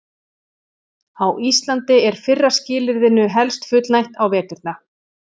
Á Íslandi er fyrra skilyrðinu helst fullnægt á veturna.